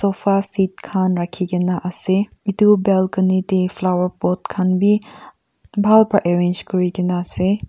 sofa seats khan rakhikaena ase edu balcony tae flower pot khan bi bhal pra arrange kurikaena ase.